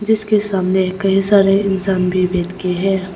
उसके सामने कई सारे इंसान भी बैठे हैं।